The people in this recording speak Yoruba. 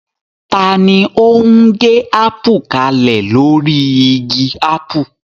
Ta ni ó ń gé ápù kalẹ̀ lórí igi ápù?